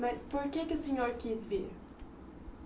Mas por que que o senhor quis vir?